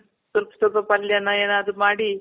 ಸ್ವಲ್ಪ ಸ್ವಲ್ಪ ಪಲ್ಯ ನ ಏನಾದ್ರು ಮಾಡಿ